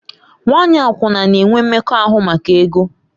Nwanyị akwụna na-enwe mmekọahụ maka ego.